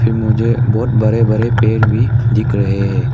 मुझे बहुत बड़े बड़े पेड़ भी दिख रहे हैं।